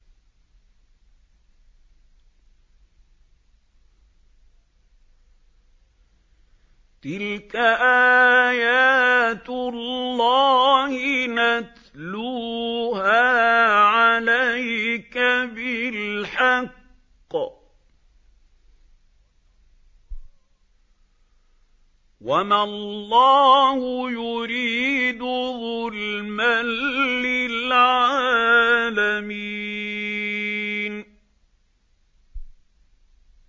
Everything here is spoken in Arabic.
تِلْكَ آيَاتُ اللَّهِ نَتْلُوهَا عَلَيْكَ بِالْحَقِّ ۗ وَمَا اللَّهُ يُرِيدُ ظُلْمًا لِّلْعَالَمِينَ